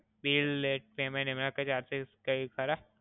Bill late payment, એમાં કાઇ charges ખરા?